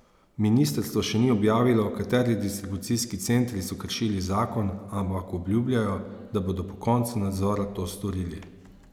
Ministrstvo še ni objavilo, kateri distribucijski centri so kršili zakon, ampak obljubljajo, da bodo po koncu nadzora to storili.